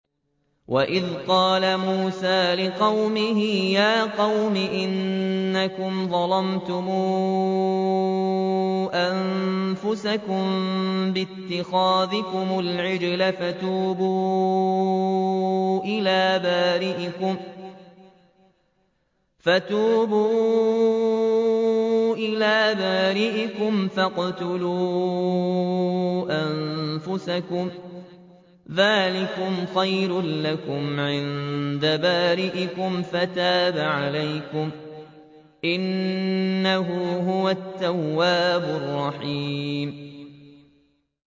وَإِذْ قَالَ مُوسَىٰ لِقَوْمِهِ يَا قَوْمِ إِنَّكُمْ ظَلَمْتُمْ أَنفُسَكُم بِاتِّخَاذِكُمُ الْعِجْلَ فَتُوبُوا إِلَىٰ بَارِئِكُمْ فَاقْتُلُوا أَنفُسَكُمْ ذَٰلِكُمْ خَيْرٌ لَّكُمْ عِندَ بَارِئِكُمْ فَتَابَ عَلَيْكُمْ ۚ إِنَّهُ هُوَ التَّوَّابُ الرَّحِيمُ